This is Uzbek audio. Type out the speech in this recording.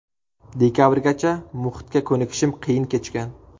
Dekabrgacha muhitga ko‘nikishim qiyin kechgan.